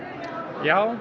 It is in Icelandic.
já